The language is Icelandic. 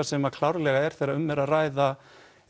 sem klárlega er þegar um er að ræða